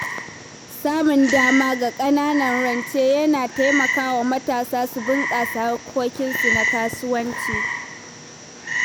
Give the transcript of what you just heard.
Samun dama ga ƙananan rance yana taimaka wa matasa su bunƙasa harkokinsu na kasuwanci.